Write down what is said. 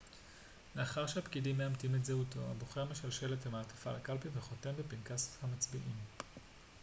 לאחר שהפקידים מאמתים את זהותו הבוחר משלשל את המעטפה לקלפי וחותם בפנקס המצביעים